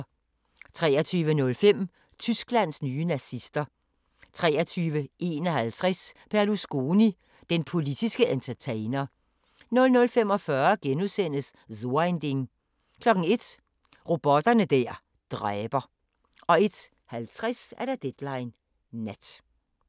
23:05: Tysklands nye nazister 23:51: Berlusconi – den politske entertainer 00:45: So ein Ding * 01:00: Robotter der dræber 01:50: Deadline Nat